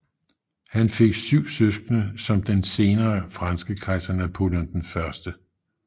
Han fik syv søskende som den senere franske kejser Napoleon 1